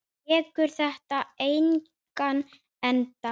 Tekur þetta engan enda?